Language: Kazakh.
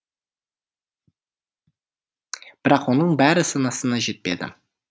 бірақ оның бәрі санасына жетпеді